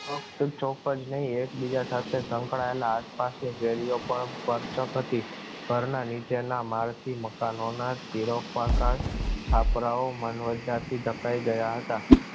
chop જ નહીં, એકબીજા સાથે સંકળાયેલ આસપાસ પણ પર ચાંપતી પર ના નીચે ના માર થી મકાનો ના તીર પાકા છાપરાઓ માનવજાતિ ધ ખાઈ ગયા હતા